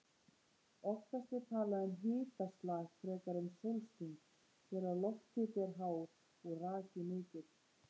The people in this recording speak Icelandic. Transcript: Oftast er talað um hitaslag frekar en sólsting þegar lofthiti er hár og raki mikill.